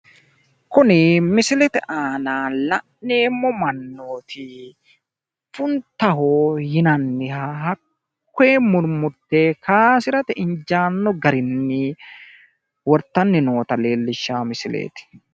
Kuni misilete aana la'neemmo mannooti funtaaho yinanniha hakkoye murmurte kaaysirate injaanno garinni wortanni nootta leellishshanno misileeti.